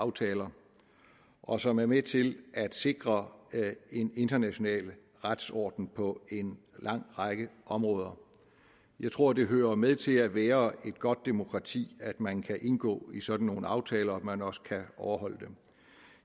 aftaler og som er med til at sikre en international retsorden på en lang række områder jeg tror det hører med til at være et godt demokrati at man kan indgå i sådan nogle aftaler og at man også kan overholde dem